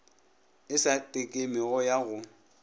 e sa tekemego ya go